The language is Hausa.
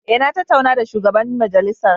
Eh na tattauna da shugaban majalisar.